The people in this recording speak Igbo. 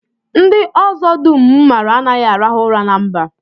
Ndị ọzọ dum m maara anaghị arahu ụra na mba